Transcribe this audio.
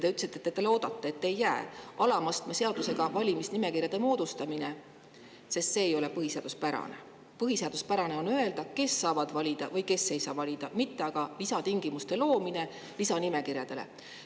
Te ütlesite, et te loodate, et see alama astme seadusega valimisnimekirjade moodustamine sinna sisse ei jää, sest see ei ole põhiseaduspärane, et põhiseaduspärane on öelda, kes saavad valida või kes ei saa valida, mitte aga lisatingimuste loomine lisanimekirjade abil.